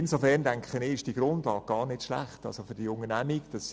Insofern erscheint mir diese Grundlage für die Unternehmung gar nicht schlecht.